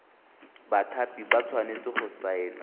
bathapi ba tshwanetse go saena